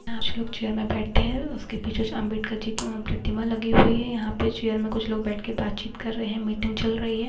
पांच लोग चेयर में बैठे हैं उसके पीछे जो अंबेडकर जी अ प्रतिमा लगी हुई है यहाँ पे चेयर में कुछ लोग बैठ के बातचीत कर रहे हैं मीटिंग चल रही है।